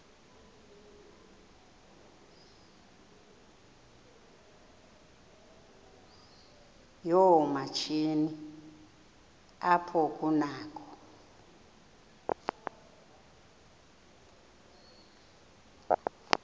yoomatshini apho kunakho